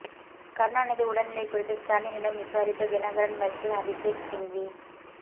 கருணாநிதி உடல்நிலை குறித்து ஸ்டாலினிடம் விசாரித்த தினகரன் வக்கீல் அபிஷேக் சிங்வி